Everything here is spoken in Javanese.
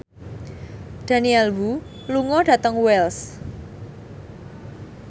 Daniel Wu lunga dhateng Wells